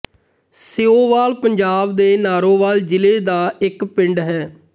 ਸੀਓਵਾਲ ਪੰਜਾਬ ਦੇ ਨਾਰੋਵਾਲ ਜ਼ਿਲ੍ਹੇ ਦਾ ਇੱਕ ਪਿੰਡ ਹੈ